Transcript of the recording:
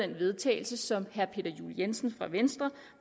vedtagelse som herre peter juel jensen fra venstre